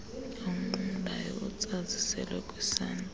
onqumlayo otsazisela kwisanti